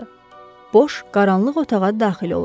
Boş, qaranlıq otağa daxil oluruq.